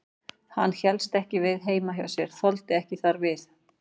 Hann hélst ekki við heima hjá sér, þoldi ekki þar við.